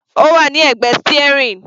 Ó wà ní ẹ̀gbẹ́ steering.